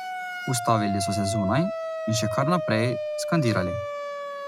Ustavili so se zunaj in še kar naprej skandirali.